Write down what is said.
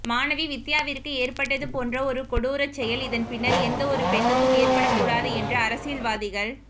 மாணவி வித்தியாவிற்கு ஏற்பட்டது போன்ற ஒரு கொடூரச் செயல் இதன் பின்னர் எந்தவொரு பெண்ணுக்கும் ஏற்படக்கூடாது என்று அரசியல்வாதிகள்